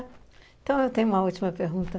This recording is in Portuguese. Então, eu tenho uma última pergunta.